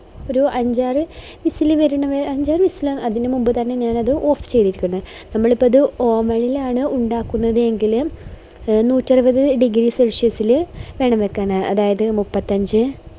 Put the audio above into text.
ഒരു അഞ്ചാറ് whistle വരുന്നവരെ അഞ്ചാറ് whistle അതിനു മുന്നേ തന്നെ ഞാനത് off ചെയ്തിരിക്കുന്നു നമ്മളിപ്പോ അത് എ oven ഇൽ ആണ് ഉണ്ടാക്കുന്നത് എങ്കില് ഒരു നൂറ്ററുപത് degree celsius ഇൽ വേണം വെക്കാന് അതായത് മുപ്പത്തഞ്ച്